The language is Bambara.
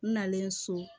N nalen so